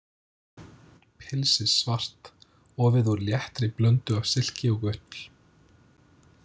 Pilsið svart, ofið úr léttri blöndu af silki og ull.